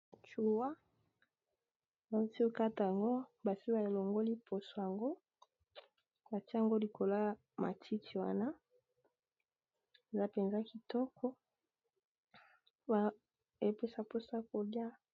chua nosiokata yango basi ba elongoli mposo yango atia yango likolo ya matiki wana eza mpenza kitoko epesa mposo kolia